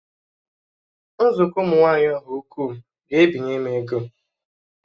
Nzukọ ụmụ nwaanyị Ọhaukwu ga-ebinye m ego